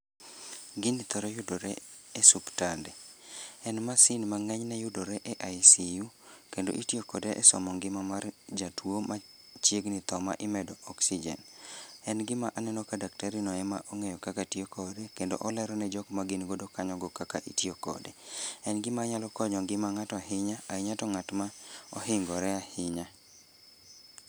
Gini thoro yudore e suptande, en masin ma ng'enyne yudore e ICU kendo itiyo kode e somo ngima mar jatuo machiegni tho ma imedo oksijen. En gima aneno ka daktarino ema ong'eyo kaka tiyokode kendo olerone jokma gingodo kanyogo kaka itiyo kode. En gimanyalo konyo ngima ng'ato ahinya ahinya to ng'atma ohingore ahinya.